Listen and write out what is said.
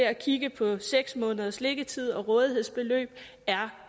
at kigge på seks måneders liggetid og rådighedsbeløb er